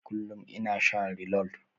Kullum ina shan reload.